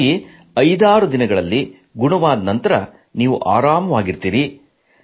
ಹಾಗಾಗಿ 56 ದಿನಗಳಲ್ಲಿ ಗುಣವಾದ ನಂತರ ನೀವು ಆರಾಮದಿಂದಿರುತ್ತೀರಿ